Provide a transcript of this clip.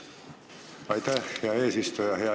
Aitäh, hea eesistuja!